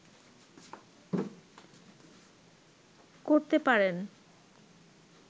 করতে পারেন